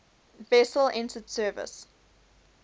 vessel entered service